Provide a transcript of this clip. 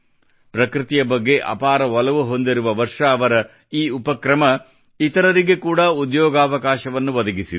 ಪ್ರಕೃತಿಯ ಬಗ್ಗೆ ಅಪಾರ ಒಲವು ಹೊಂದಿರುವ ವರ್ಷಾ ಅವರ ಈ ಉಪಕ್ರಮ ಇತರರಿಗೆ ಕೂಡಾ ಉದ್ಯೋಗಾವಕಾಶವನ್ನು ಒದಗಿಸಿದೆ